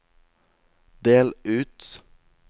del ut